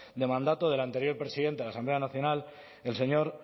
de mandato del anterior presidente en la asamblea nacional el señor